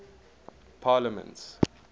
parliaments